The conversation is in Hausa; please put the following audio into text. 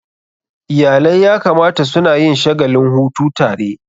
Iyalai ya kamata suna yin shagalin hutu tare.